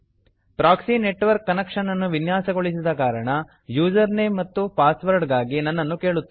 proxy network connection ಅನ್ನು ವಿನ್ಯಾಸಗೊಳಿಸಿದ ಕಾರಣ ಯೂಸರ್ ನೇಮ್ ಮತ್ತು ಪಾಸ್ ವರ್ಡ್ ಗಾಗಿ ನನ್ನನ್ನು ಕೇಳುತ್ತದೆ